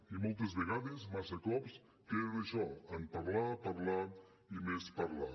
i moltes vegades massa cops queda en això en parlar parlar i més parlar